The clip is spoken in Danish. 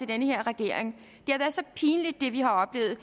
den her regering det vi har oplevet